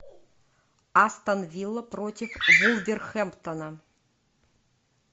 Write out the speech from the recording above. астон вилла против вулверхэмптона